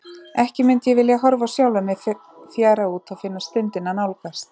Ekki mundi ég vilja horfa á sjálfa mig fjara út og finna stundina nálgast.